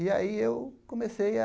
E aí eu comecei a...